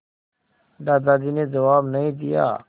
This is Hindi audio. दादाजी ने जवाब नहीं दिया